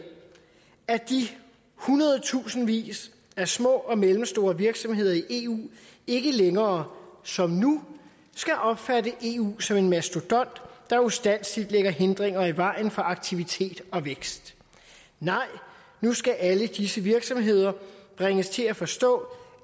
at de hundredtusindvis af små og mellemstore virksomheder i eu ikke længere som nu skal opfatte eu som en mastodont der ustandselig lægger hindringer i vejen for aktivitet og vækst nej nu skal alle disse virksomheder bringes til at forstå